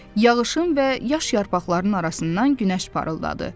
Yağışın və yaş yarpaqların arasından günəş parıldadı.